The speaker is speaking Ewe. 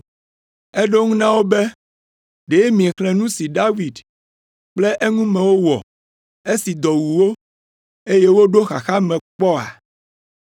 Eɖo eŋu na wo be, “Ɖe miexlẽ nu si David kple eŋumewo wɔ, esi dɔ wu wo, eye woɖo xaxa me kpɔ oa?